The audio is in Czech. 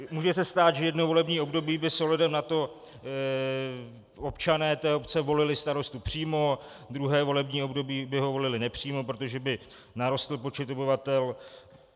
Může se stát, že jedno volební období by s ohledem na to občané té obce volili starostu přímo, druhé volební období by ho volili nepřímo, protože by narostl počet obyvatel.